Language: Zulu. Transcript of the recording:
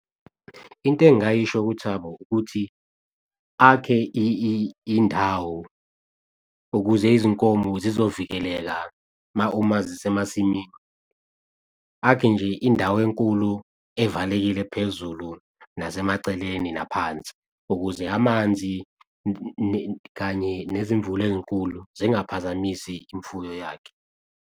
Into engayisho kuThabo ukuthi akhe indawo ukuze izinkomo zizovikeleka uma zisemasimini. Akhe nje indawo enkulu evalekile phezulu, nasemaceleni, naphansi, ukuze amanzi kanye nezimvula ey'nkulu zingabaphazamisi imfuyo yakhe.